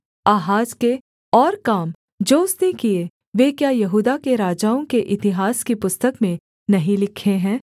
आहाज के और काम जो उसने किए वे क्या यहूदा के राजाओं के इतिहास की पुस्तक में नहीं लिखे हैं